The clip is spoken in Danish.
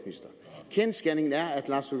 så